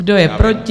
Kdo je proti?